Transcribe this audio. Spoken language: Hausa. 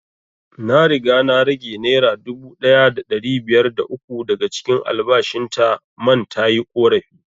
Na riga na rage naira dubu ɗaya da ɗari biyar da uku daga cikin albashin ta man tayi ƙorafi